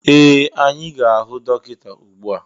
Ee! Anyị ga-ahụ dọkịta ugbu a.